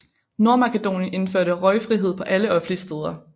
Nordmakedonien indførte røgfrihed på alle offentlige steder